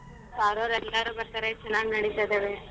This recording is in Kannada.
sir ಅವ್ರು ಎಲ್ಲರು ಬರ್ತಾರೆ ಚನಾಗ್ನಡಿತ ಇದ್ದವೆ.